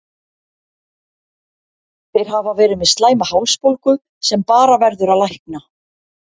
Þeir hafa verið með slæma hálsbólgu sem bara verður að lækna.